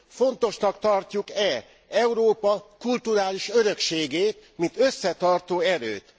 Fontosnak tarjuk e Európa kulturális örökségét mint összetartó erőt?